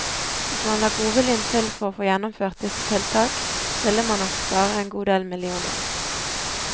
Hvis man la godviljen til for å få gjennomført disse tiltak, ville man nok spare en god del millioner.